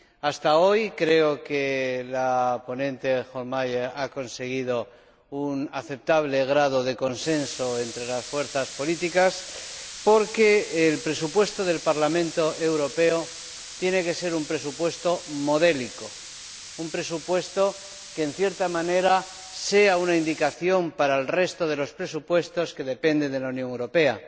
Hasta hoy creo que la ponente Hohlmeier ha conseguido un aceptable grado de consenso entre las fuerzas políticas, porque el presupuesto del Parlamento Europeo tiene que ser un presupuesto modélico, un presupuesto que, en cierta manera, sea una indicación para el resto de los presupuestos que dependen de la Unión Europea.